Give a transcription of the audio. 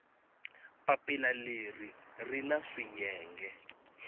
papila leri ri na swiyenge